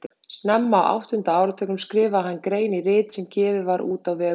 Snemma á áttunda áratugnum skrifaði hann grein í rit sem gefið var út á vegum